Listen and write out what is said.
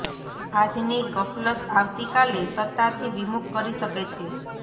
આજની ગફલત આવતી કાલે સત્તાથી વિમુખ કરી શકે છે